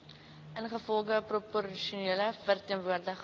ingevolge proporsionele verteenwoordiging